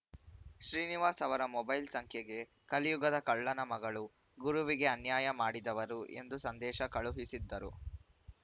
ಶ್ರೀನಿವಾಸ್‌ ಅವರ ಮೊಬೈಲ್‌ ಸಂಖ್ಯೆಗೆ ಕಲಿಯುಗದ ಕಳ್ಳನ ಮಗಳು ಗುರುವಿಗೆ ಅನ್ಯಾಯ ಮಾಡಿದವರು ಎಂದು ಸಂದೇಶ ಕಳುಹಿಸಿದ್ದರು